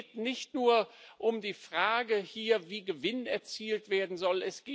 Es geht nicht nur um die Frage, wie Gewinn erzielt werden soll.